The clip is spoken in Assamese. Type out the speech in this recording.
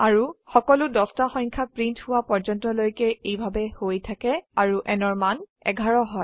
আৰু সকলো 10টা সংখয়া প্ৰীন্ট হোয়া পৰ্যন্তলৈকে এইভাবে হৈ থাকে আৰু n ৰ মান 11 হয়